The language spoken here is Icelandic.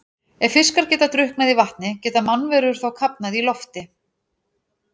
Ef fiskar geta drukknað í vatni, geta mannverur þá kafnað í lofti?